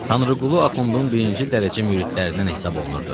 Tanrıqulu Axundun birinci dərəcə müridlərindən hesab olunurdu.